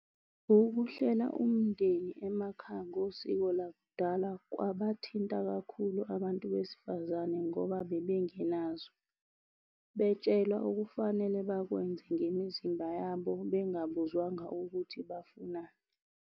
Ukuhlela umndeni emakhaya ngosiko lakudala kwabathinta kakhulu abantu besifazane ngoba bebengenazo. Betshelwa okufanele bakwenze ngemizimba yabo bengabuzwanga ukuthi bafunani.